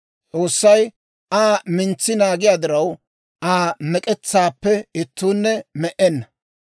S'oossay Aa mintsi naagiyaa diraw, Aa mek'etsaappe ittuunne me"enna.